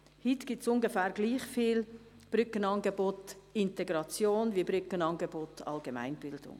Heute gibt es ungefähr gleich viele Brückenangebote Integration wie Brückenangebote Allgemeinbildung.